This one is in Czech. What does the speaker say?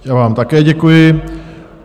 Já vám také děkuji.